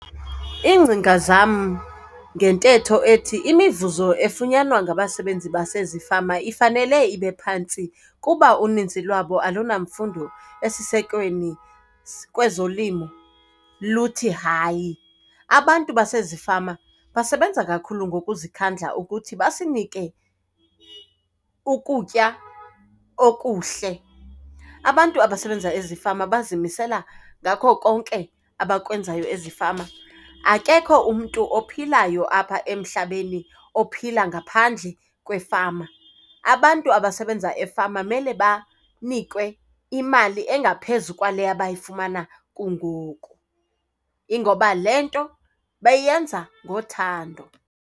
Iingcinga zam ngentetho ethi, imivuzo efunyanwa ngabasebenzi basezifama ifanele ibe phantsi kuba uninzi lwabo alunamfundo esisekweni kwezolimo, luthi hayi. Abantu basezifama basebenza kakhulu ngokuzikhandla ukuthi basinike ukutya okuhle. Abantu abasebenza ezifama bazimisela ngako konke abakwenzayo ezifama, akekho umntu ophilayo apha emhlabeni ophila ngaphandle kwefama. Abantu abasebenza efama mele banikwe imali engaphezu kwale abayifumana kungoku, ingoba le nto bayenza ngothando.